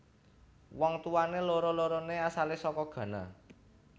Wong tuwané loro loroné asalé saka Ghana